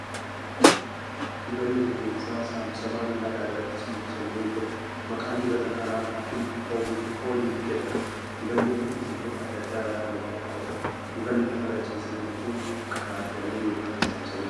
Dibanni rifeensaa saamsamaan lafa irra ciibsamee jira. Maqaan dibata kanaa ' Hakiim Ooliiv ' jedhama. Dibanni kun biqiltoota adda addaa irraa kan qophaa'uudha. Dibanni lafarra ciisee jiru kun qadaadamee yookan saamsamee jira.